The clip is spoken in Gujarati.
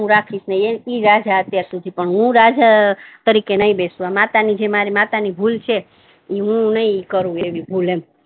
હુ રાખીસ નહી એક જ રાજા છે અત્યાર સુધી એ છે પણ હુ રાજા તરીકે નહી બેસુ જે માતા ની જે મારી માતા ની ભૂલ છે હુ નહી કરુ એવી ભૂલ એમ